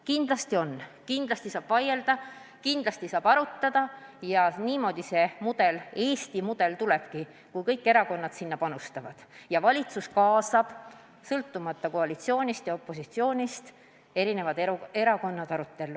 Kindlasti on võimalik paremaks muuta, kindlasti saab vaielda, kindlasti saab arutada ja niimoodi see Eesti mudel tekibki, kui kõik erakonnad sinna panustavad ja valitsus kaasab sõltumata koalitsioonist ja opositsioonist kõik erakonnad arutellu.